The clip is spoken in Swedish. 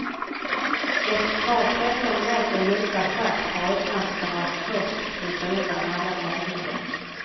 Ett par tretton meter djupa schakt har öppnats för att först flytta undan alla ledningar.